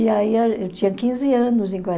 E aí eu tinha quinze anos em